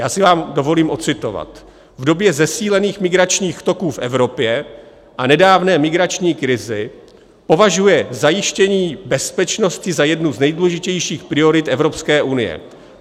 Já si vám dovolím ocitovat: "V době zesílených migračních toků v Evropě a nedávné migrační krize považuje zajištění bezpečnosti za jednu z nejdůležitějších priorit Evropské unie.